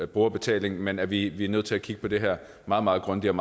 brugerbetaling men vi er nødt til at kigge på det her meget meget grundigt